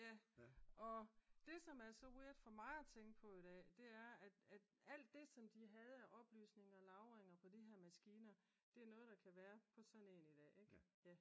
Ja og det som er så weird for mig at tænke på i dag det er at alt det som det havde af oplysninger og lagringer på de her maskiner det er noget der kan være på sådan en der i dag.